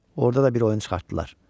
Orda da bir oyun çıxartdılar.